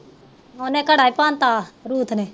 ਓਹਨੇ ਘੜਾ ਹੀ ਪੰਨ ਤਾ ਰੂਥ ਨੇ